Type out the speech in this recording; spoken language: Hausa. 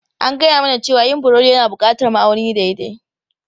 An gaya mana cewa yin burodi yana buƙatar ma'auni daidai.